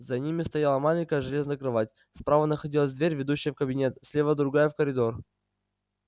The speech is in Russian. за ними стояла маленькая железная кровать справа находилась дверь ведущая в кабинет слева другая в коридор